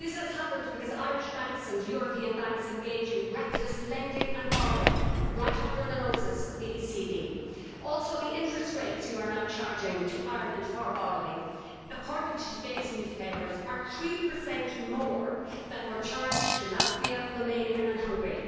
This has happened because Irish banks and European banks engaged in reckless lending and borrowing right under the noses of the ECB. The interest rates you are now charging to Ireland for borrowing, according to today's newspapers, are 3 more than were charged to Latvia, Romania and Hungary.